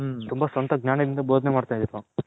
ತುಂಬಾ ಸ್ವಂತ ಜ್ಞಾನ ಇಂದ ಬೊದನೆ ಮಾಡ್ತಿದ್ರು